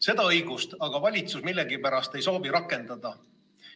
Seda õigust aga valitsus millegipärast ei soovi rakendada.